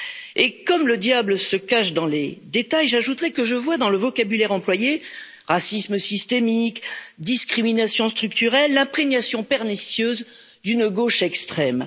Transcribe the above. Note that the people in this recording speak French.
Et comme le diable se cache dans les détails, j'ajouterai que je vois dans le vocabulaire employé, racisme systémique, discrimination structurelle l'imprégnation pernicieuse d'une gauche extrême.